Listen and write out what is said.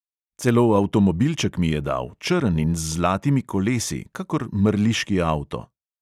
Celo avtomobilček mi je dal, črn in z zlatimi kolesi, kakor mrliški avto.